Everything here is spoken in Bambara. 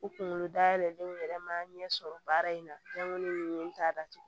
U kunkolo dayɛlɛlen yɛrɛ ma ɲɛ sɔrɔ baara in na n t'a datugu